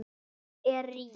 Hún er rík.